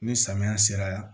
Ni samiya sera